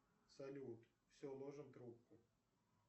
салют все ложим трубку